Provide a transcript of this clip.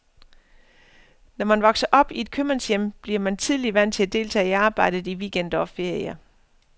Når man vokser op i et købmandshjem, bliver man tidligt vant til at deltage i arbejdet i weekender og ferier.